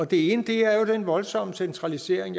det ene er den voldsomme centralisering